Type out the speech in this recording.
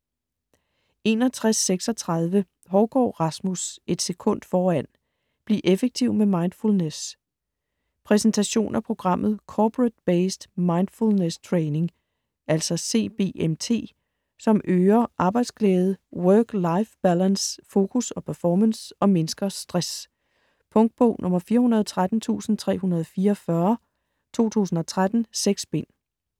61.36 Hougaard, Rasmus: Et sekund foran: bliv effektiv med mindfulness Præsentation af programmet Corporate-Based Mindfulness Training (CBMT), som øger arbejdsglæde, work-life balance, fokus og performance og mindsker stress. Punktbog 413344 2013. 6 bind.